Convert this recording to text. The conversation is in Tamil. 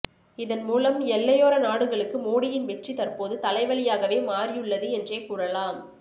இதன் மூலம் எல்லையோர நாடுகளுக்கு மோடியின் வெற்றி தற்போது தலைவலியாகவே மாறியுள்ளது என்றே கூறலாம்